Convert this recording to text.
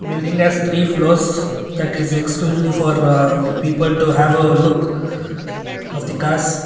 building has three floors that is exclusively for ah people to have look of the cars.